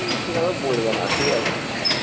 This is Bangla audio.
ও মিথ্যে কথা বলবে না ঠিকাছে হম